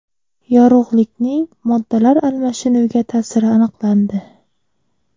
Yorug‘likning moddalar almashinuviga ta’siri aniqlandi.